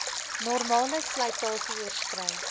normale slytasie oorskrei